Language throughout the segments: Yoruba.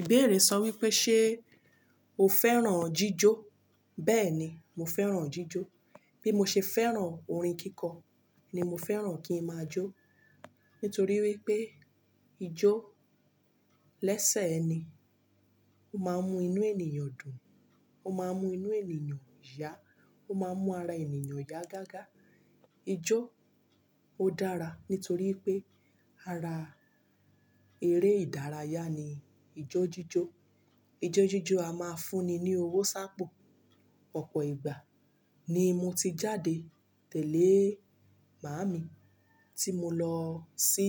Ìbéèrè sọ wípé ṣe o fẹ́ràn-an jíjó? Bẹ́ẹ̀ni, mo fẹ́ràn-an jíjó. Bí mo ṣe fẹ́ràn orin kíkọ, ni mo fẹ́ràn kí ń máa jó. Nítorí wípé ijó lẹ́sẹ̀ ẹni. Ó máa ń mú inú ènìyàn dùn. Ó máa ń mú inú ènìyàn yá. Ó máa ń mú ara ènìyàn yá gágá. Ijó ó dára nítorípé ara eré ìdárayá ni ijó jíjó. Ijó jíjó a máa ń fún ni ní owó sápò. Ọ̀pọ̀ ìgbà ni mo ti jáde tẹ̀lé màámi tí mo lọ sí,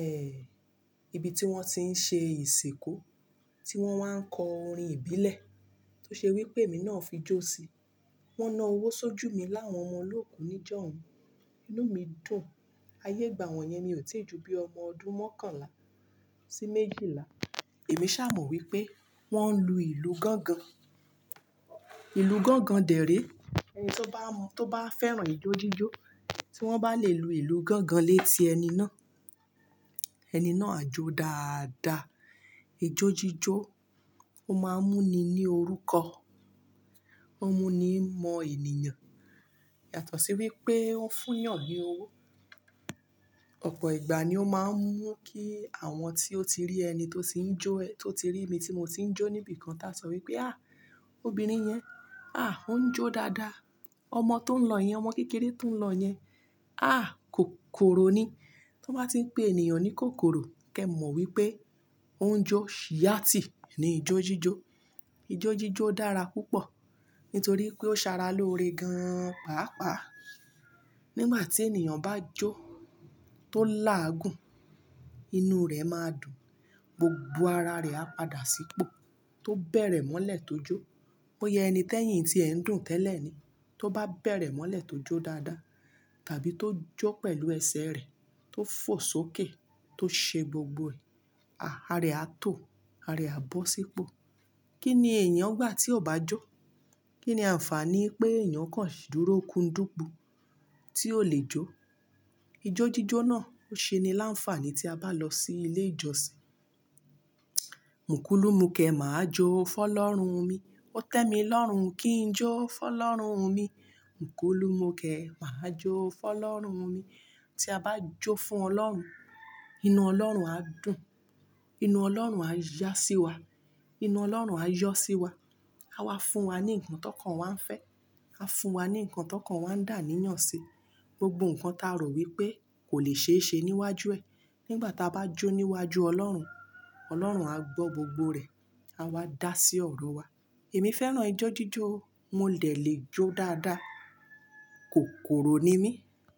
ẹhh, ibi tí wón ti ń ṣe ìsìnkú, tí wón wá ń kọ orin ìbílẹ̀ tó ṣe wípé èmi náà fi jó sí. Wón na owó sójú mi láwọn ọmọ olóòkú níjọ́hun. Inú mi dùn. Ayé ìgbà wọ́n yẹn mi ò tíì ju bíi ọmọ ọdún mọ́kànlá sí méjìlá. Èmi ṣà mọ̀o wípé wón ń lu ìlù gángan. Ìlù gángan dẹ̀ ré ẹni tó bá mọ tó bá fẹ́ràn ijó jíjó tí wón bá lè lu ìlù gángan léti ẹni náà, ẹni náà á jó dáadáa. Ijó jíjó ó máa ń mú ni ní orúkọ. Ó n mú nii mọ ènìyàn. Yàtọ̀ sí wípé ó fúnyàn ní owó. Ọ̀pọ̀ ìgbà ni ó máa ń mú kí àwọn tí ó ti rí ẹni tó ti ń jó ẹ́, tó ti rí mi tí mo ti ń jó níbi kan tá sọ wípé, "àhh! Obìnrin yẹn, àh! Ó ń jó dáadáa. Ọmọ tó ń lọ yẹn, ọmọ kékeré tó ń lọ yẹn, àh! Kòkòrò ni." Tan bá ti ń pe ènìyàn ní kòkòrò, kí ẹ mọ̀ wípé ó ń jó yaàtì ni ijó jíjó. Ijó jíjó dára púpọ̀ nítorí pé ó Sara lóore gan pàápàá. Nígbà tí ènìyàn bá jó tó láàgùn, inú rẹ̀ máa dùn. Gbogbo ara rẹ̀ á padà sípò tó bẹ̀rẹ̀ mọ́lẹ̀ tó jó. Boya ẹni t'ẹ́yìn tíẹ ń dùn tẹ́lẹ̀ ni. Tó bá bẹ̀rẹ̀ mọ́lẹ̀ tó jó dáadáa tàbí tó jó pẹ̀lú ẹsẹ̀ rẹ̀ tó fò sókè tó ṣe gbogbo ẹ̀, àh, ara e á tò, ara ẹ̀ á bọ́ sípò. Kí ni èèyàn gbà tí ò bá jó? Kí ni àǹfààní pé èèyàn kan dúró kúndùnpú tí ò lè jó? Ijó jíjó náà ó ṣe ni láǹfààní tí a bá lọ sí ilé ìjọsìn. Mukulu múkẹ, màá jó fọ́'lọ́run-un mi. Ó tẹ́ mi lọ́run, kí n jó fọ́'lọ́run-un mi. Òkulu múkẹ, màá jó fọ́ lọ́run mi. Tí a bá jó fún Ọlọ́run, inú Ọlọ́run á dùn. Inú Ọlọ́run á yá sí wa. Inú Ọlọ́run á yọ́ sí wa. A wá fún wa ní nǹkan tókàn wa ń fẹ́. A fún wa ní nǹkan tókàn wa ń dà aníyàn si. Gbogbo nǹkan tá rò wípé kò lè ṣeé ṣe níwájú ẹ, nígbà tá bá jó níwájú Ọlọ́run, Ọlọ́run á gbọ́ gbogbo rẹ̀. A wá dá sí ọ̀rọ̀ wa. Èmi fẹ́ràn ijó jíjó. Mo lè lè jó dáadáa. Kòkòrò ni mí.